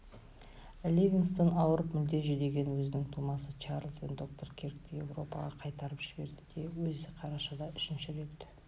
ливингстон ауырып мүлде жүдеген өзінің тумасы чарльз бен доктор киркті еуропаға қайырып жіберді де өзі қарашада үшінші рет